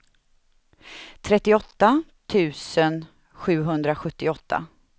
trettioåtta tusen sjuhundrasjuttioåtta